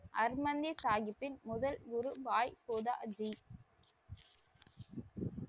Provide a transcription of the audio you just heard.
ஹர்மந்திர் சாஹிப்பின் முதல் குரு பாய் கோதா ஆசீம்,